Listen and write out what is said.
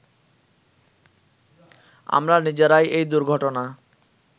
আমরা নিজেরাই এই দুর্ঘটনা